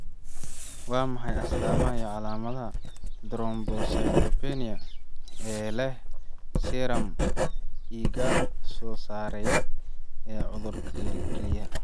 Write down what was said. Waa maxay astaamaha iyo calaamadaha Thrombocytopenia ee leh serum IgA oo sarreeya iyo cudurka kelyaha?